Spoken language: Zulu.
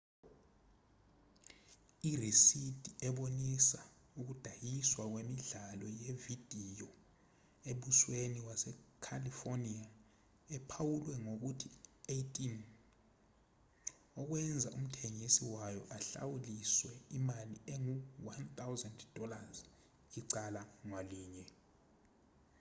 irisidi ebonisa ukudayiswa kwemidlalo yevidiyo embusweni wase-california ephawulwe ngokuthi 18”okwenza umthengisi wayo ahlawuliswe imali engu-$1000 icala ngalinye